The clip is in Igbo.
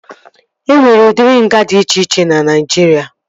E nwere udiri nga dị iche iche na Naijiria